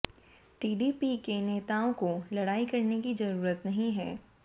TDP के नेताओं को लड़ाई करने की जरूरत नहीं है